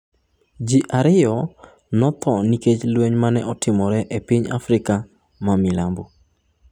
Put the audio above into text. Ji ariyo notho nikech lweny ma ne otimore e piny Afrika ma milambo